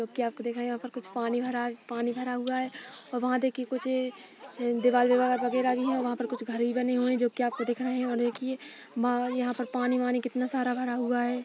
तो क्या आपको दिखा। यहाँ पर कुछ पानी भरा पानी भरा हुआ है। और वहाँ देखिये कुछ दीवाल विवाल वगैरह भी है। वहाँ पर कुछ घर भी बने हुए है जो की आपको दिख रहे है। और एक ये बा यहाँ पर पानी वानी कितना सारा भरा हुआ है।